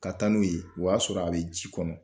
Ka taa n'u ye, o y'a sɔrɔ a bɛ ji kɔnɔ.